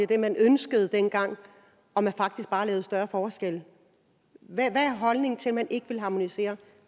det man ønskede dengang og at man faktisk bare har lavet større forskelle hvad er holdningen til at man ikke vil harmonisere